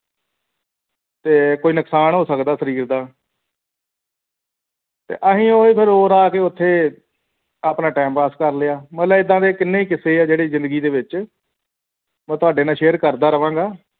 ਤੇ ਕੋਈ ਨੁਕਸਾਨ ਹੋ ਸਕਦਾ ਹੈ ਸਰੀਰ ਦਾ ਤੇ ਅਸੀਂ ਫੇਰ ਉਹੀ ਰੋਰਾ ਕੇ ਉੱਥੇ ਆਪਣਾ ਟੈਮ ਪਾਸ ਕਰ ਲਿਆ ਮਤਲਬ ਏਦਾਂ ਦੇ ਕਿੰਨੇ ਹੀ ਕਿਸੇ ਹੈ ਜਿਹੜੇ ਜ਼ਿੰਦਗੀ ਦੇ ਵਿੱਚ ਮੈਂ ਤੁਹਾਡੇ ਨਾਲ share ਕਰਦਾ ਰਹਾਂਗਾ